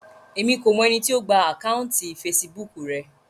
Èmi kò mọ ẹni tí ó gba àkáùntì fesibúùkù rẹ